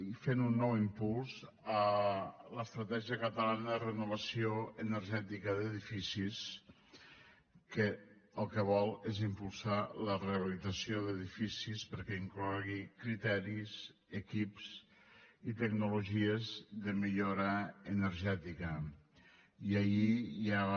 i fent un nou impuls a l’estratègia catalana de renovació energètica d’edificis que el que vol és impulsar la rehabilitació d’edificis perquè inclogui criteris equips i tecnologies de millora energètica i ahir ja va